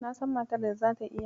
Na san matar da zata iya.